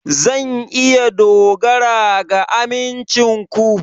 Zan iya dogara ga amincin ku?